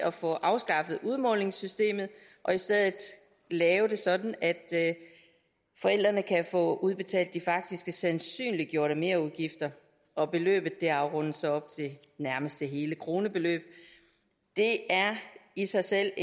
at få afskaffet udmålingssystemet og i stedet lave det sådan at forældrene kan få udbetalt de faktiske sandsynliggjorte merudgifter og beløbet rundes så op til nærmeste hele krone det det er i sig selv